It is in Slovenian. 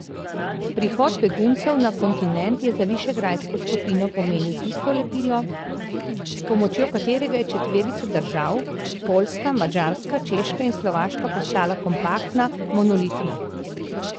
Prihod beguncev na kontinent je za višegrajsko skupino pomenil tisto lepilo, s pomočjo katerega je četverica držav, Poljska, Madžarska, Češka in Slovaška, postala kompaktna, monolitna.